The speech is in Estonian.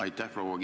Aitäh!